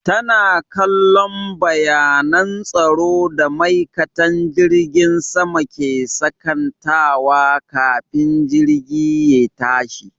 Tana kallon bayanan tsaro da maikatan jirgin sama ke sakantawa kafin jirgi ye tashi